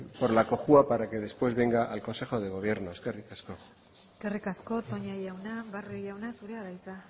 por la cojua para que después venga al consejo de gobierno eskerrik asko eskerrik asko toña jauna barrio jauna zurea da hitza